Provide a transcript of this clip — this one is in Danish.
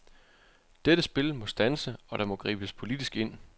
Dette spil må standse, og der må gribes politisk ind.